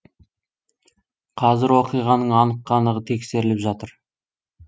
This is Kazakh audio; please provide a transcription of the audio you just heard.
қазір оқиғаның анық қанығы тексеріліп жатыр